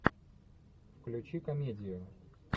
включи комедию